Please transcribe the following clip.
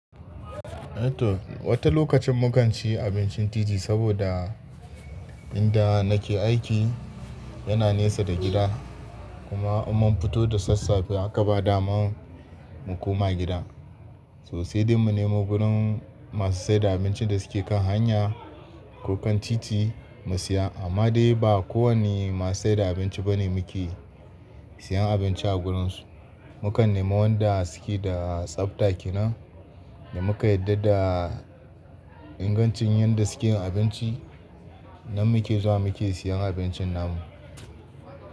Eh to wata lokacin mun ganci abincin titi saboda inda nake aiki yana nesa da gida. Kuma idan mun fito da sassafe haka ba daman mu koma gida. Sosai dai mun nemi gurin masu saida abinci da suke kan hanya ko kan titi mu siya. Amma dai ba ko wanne masu saida abinci bane muke siyan abinci a wurinsu. Mukan nemi wanda suke da tsafta kenan da muka yarda da ingancin yanda suke yin abinci nan muke zuwa muke siyan abincin namu.